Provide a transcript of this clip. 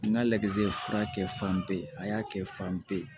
N ka lajɛlizi fura kɛ fanbe a y'a kɛ fan bɛɛ ye